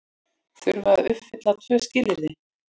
Þurfa að uppfylla tvö skilyrði